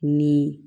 Ni